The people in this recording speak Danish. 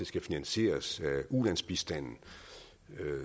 skal finansieres af ulandsbistanden